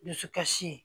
Dusukasi